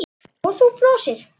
Og þú brosir.